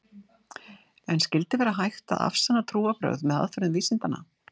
En skyldi vera hægt að afsanna trúarbrögð með aðferðum vísindanna?